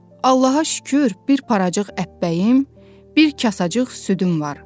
Allaha şükür, bir paracık əppəyim, bir kasacıq südüm var.